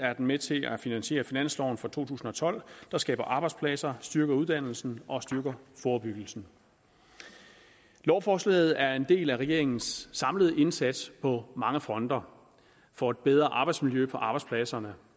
med til at finansiere finansloven for to tusind og tolv der skaber arbejdspladser styrker uddannelse og styrker forebyggelse lovforslaget er en del af regeringens samlede indsats på mange fronter for et bedre arbejdsmiljø på arbejdspladserne